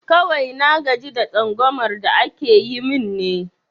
Kawai na gaji da tsangumar da ake yi min ne